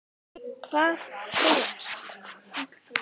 Hvað þú ert.